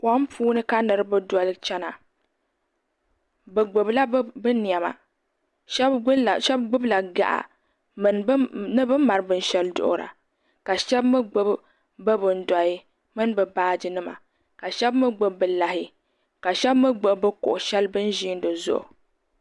Kom puuni ka nitiba doli chena bɛ gbibila bɛ niɛma sheba gbibila gaɣa ni bini mali binshaɣu duɣura ka sheba mee gbibi bɛ bindohi mini bɛ baaji nima ka sheba mee gbibi bɛ lahi ka sheba mee gbibi kuɣu sheli bini ʒiina dizuɣu.